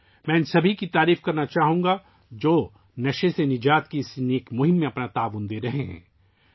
میں ان تمام لوگوں کو خراج تحسین پیش کرنا چاہوں گا ، جو نشے سے نجات کی اس عظیم مہم میں اپنا تعاون دے رہے ہیں